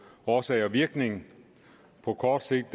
årsag og virkning på kort sigt